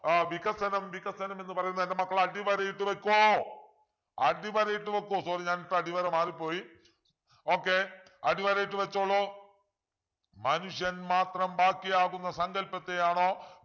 ആഹ് വികസനം വികസനം എന്ന് പറയുന്നത് എൻ്റെ മക്കൾ അടിവരയിട്ടു വെക്കൂ അടിവരയിട്ടു വെക്കു sorry ഞാനിട്ട അടിവര മാറിപ്പോയി okay അടിവരയിട്ടു വച്ചോളു മനുഷ്യൻ മാത്രം ബാക്കിയാവുന്ന സങ്കല്പത്തെയാണോ